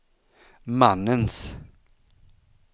mannens